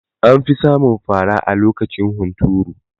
Anfi samun fara lokacin hunturu